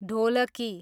ढोलकी